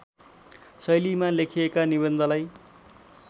शैलीमा लेखिएका निबन्धलाई